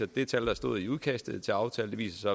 det tal der stod i udkastet til aftalen viste